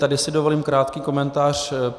Tady si dovolím krátký komentář.